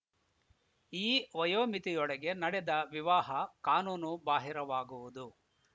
ಈ ವಯೋಮಿತಿಯೊಳಗೆ ನಡೆದ ವಿವಾಹ ಕಾನೂನು ಬಾಹಿರವಾಗುವುದು